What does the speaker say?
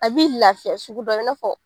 A bi lafiya sugu dɔ kɛ, i na fɔ